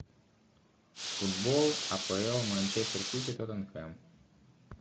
футбол апл манчестер сити тоттенхэм